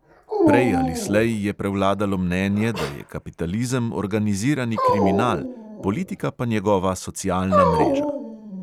Prej ali slej je prevladalo mnenje, da je kapitalizem organizirani kriminal, politika pa njegova socialna mreža.